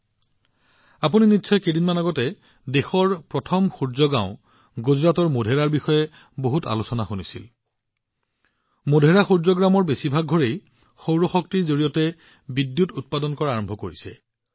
কেইদিনমান আগতে আপুনি নিশ্চয় দেশৰ প্ৰথমখন সৌৰ গাওঁ গুজৰাটৰ মোধেৰাৰ বিষয়ে শুনিছে মোধেৰা সূৰ্য গাঁৱৰ বেছিভাগ ঘৰে সৌৰ শক্তিৰ পৰা বিদ্যুৎ উৎপাদন কৰা আৰম্ভ কৰিছে